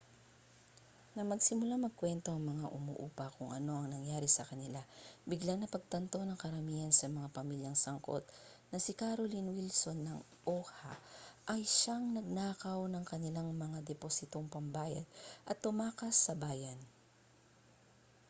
nang magsimulang magkuwento ang mga umuupa kung ano ang nangyari sa kanila biglang napagtanto ng karamihan sa mga pamilyang sangkot na si carolyn wilson ng oha ang siyang nagnakaw ng kanilang mga depositong pambayad at tumakas sa bayan